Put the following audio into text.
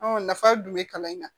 nafa dun bɛ kalan in na